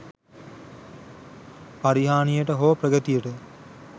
පරිහානියට හෝ ප්‍රගතියට